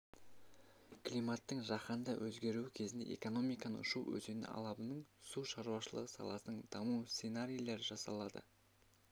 климаттың жаһанды өгеруі кезінде экономиканың шу өзені алабының су шаруашылығы саласының даму сценарийлері жасалды